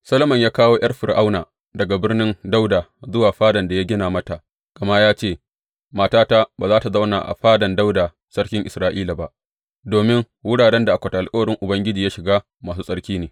Solomon ya kawo ’yar Fir’auna daga Birnin Dawuda zuwa fadan da ya gina mata, gama ya ce, Matata ba za tă zauna a fadan Dawuda sarkin Isra’ila ba, domin wuraren da akwatin alkawarin Ubangiji ya shiga masu tsarki ne.